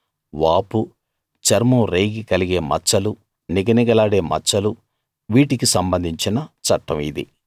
వాపూ చర్మం రేగి కలిగే మచ్చలూ నిగనిగలాడే మచ్చలూ వీటికి సంబంధించిన చట్టం ఇది